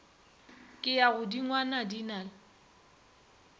ke ya godingwana di na